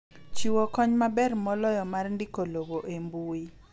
Chiwo kony maber moloyo mar ndiko lowo e mbui.